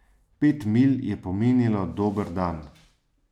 Pet milj je pomenilo dober dan.